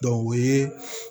o ye